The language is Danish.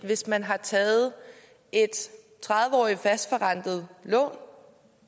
hvis man har taget et tredive årig t fastforrentet lån